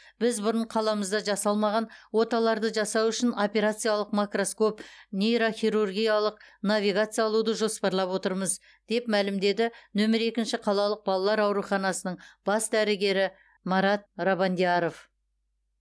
біз бұрын қаламызда жасалмаған оталарды жасау үшін операциялық макроскоп нейрохирургиялық навигация алуды жоспарлап отырмыз деп мәлімдеді нөмірі екінші қалалық балалар ауруханасының бас дәрігері марат рабандияров